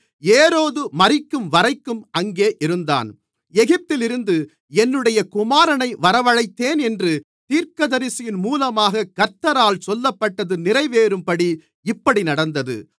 ஏரோது மரிக்கும்வரைக்கும் அங்கே இருந்தான் எகிப்திலிருந்து என்னுடைய குமாரனை வரவழைத்தேன் என்று தீர்க்கதரிசியின் மூலமாகக் கர்த்தரால் சொல்லப்பட்டது நிறைவேறும்படி இப்படி நடந்தது